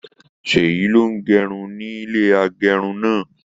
Seyi ló n gé irun nílé agérun náà.